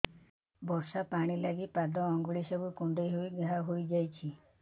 ବର୍ଷା ପାଣି ଲାଗି ପାଦ ଅଙ୍ଗୁଳି ସବୁ କୁଣ୍ଡେଇ ହେଇ ଘା ହୋଇଯାଉଛି